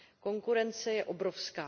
Konkurence je obrovská.